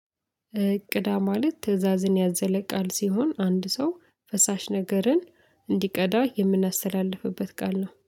እ ቅዳ ማለት ትእዛዝን ያዘለ ቃል ሲሆን አንድ ሰው ፈሳሽ ነገርን እንዲቀዳ የምናስተላልፍበት ቃል ነው።